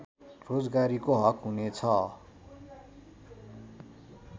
रोजगारीको हक हुने छ